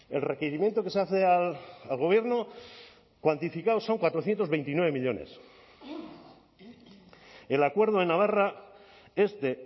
el requerimiento que se hace al gobierno cuantificado son cuatrocientos veintinueve millónes el acuerdo en navarra es de